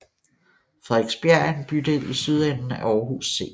Frederiksbjerg er en bydel i sydenden af Aarhus C